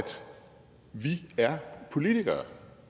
vi er politikere